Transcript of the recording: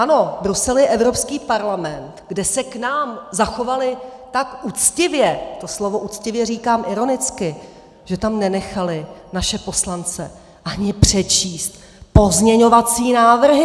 Ano, Brusel je Evropský parlament, kde se k nám zachovali tak uctivě, to slovo uctivě říkám ironicky, že tam nenechali naše poslance ani přečíst pozměňovací návrhy!